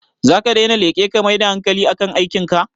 Zaka daina leƙe ka mai da hankali a kan aikin ka?